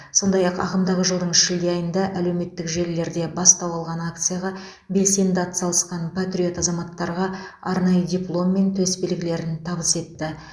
сондай ақ ағымдағы жылдың шілде айында әлеуметтік желілерде бастау алған акцияға белсенді атсалысқан патриот азаматтарға арнайы диплом мен төсбелгілерін табыс етті